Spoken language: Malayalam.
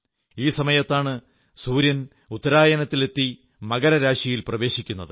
ഈ സമയത്താണ് സൂര്യൻ ഉത്തരായനത്തിലെത്തി മകരരാശിയിൽ പ്രവേശിക്കുന്നത്